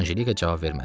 Anjelika cavab vermədi.